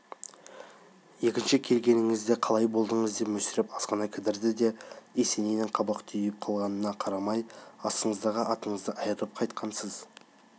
екінші келгеніңізде қалай болдыңыз деп мүсіреп азғана кідірді де есенейдің қабақ түйіп қалғанына қарамай астыңыздағы атыңыздан айрылып қайтқансыз